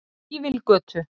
Fífilgötu